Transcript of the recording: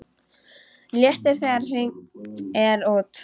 Léttir þegar hringt er út.